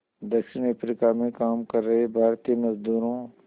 दक्षिण अफ्रीका में काम कर रहे भारतीय मज़दूरों